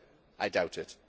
I doubt it.